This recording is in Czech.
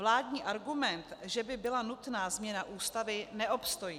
Vládní argument, že by byla nutná změna Ústavy, neobstojí.